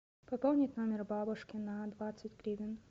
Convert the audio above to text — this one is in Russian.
пополнить номер бабушки на двадцать гривен